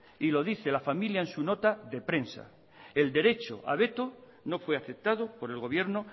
y lo dice la familia en su nota de prensa el derecho a veto no fue aceptado por el gobierno